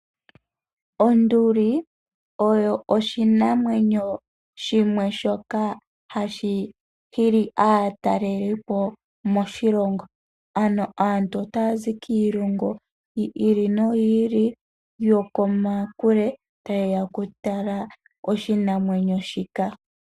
Onduli oyo oshinamwenyo shimwe shoka hashi hili aatalelipo moshilongo . Aantu ohaya zi kiilongo yiili noyili yokomakule tayeya okutala oshinamwenyo shika.